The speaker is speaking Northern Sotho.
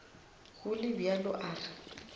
go le bjalo a re